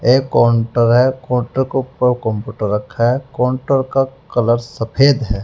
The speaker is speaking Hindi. ये काउंटर है काउंटर का ऊपर कंप्यूटर रखा है काउंटर का कलर सफेद है।